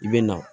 I bɛ na